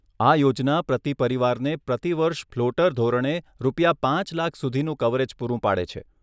આ યોજના પ્રતિ પરિવારને પ્રતિ વર્ષ ફ્લોટર ધોરણે રૂપિયા પાંચ લાખ સુધીનું કવરેજ પૂરું પાડે છે.